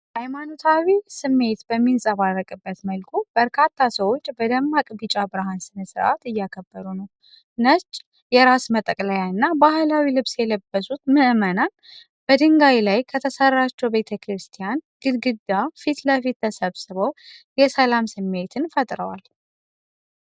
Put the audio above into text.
ሃይማኖታዊ ስሜት በሚንፀባረቅበት መልኩ፣ በርካታ ሰዎች በደማቅ ቢጫ ብርሃን ስር በዓል እያከበሩ ነው። ነጭ የራስ መጠቅለያና ባህላዊ ልብስ የለበሱት ምእመናን፣ በድንጋይ ላይ ከተሰራችው ቤተ ክርስቲያን ግድግዳ ፊት ለፊት ተሰብስበው የሰላም ስሜትን ፈጥረዋል።